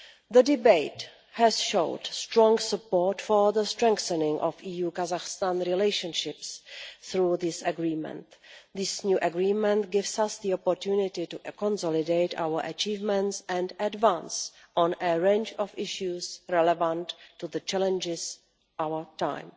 The debate has shown strong support for the strengthening of EU-Kazakhstan relations through this Agreement. This new Agreement gives us the opportunity to consolidate our achievements and advance on a range of issues relevant to the challenges of our time.